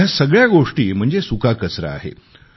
या सगळ्या गोष्टी म्हणजे सुका कचरा आहे